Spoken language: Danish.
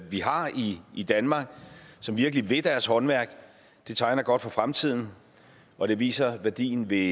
vi har i i danmark som virkelig vil deres håndværk det tegner godt for fremtiden og det viser værdien ved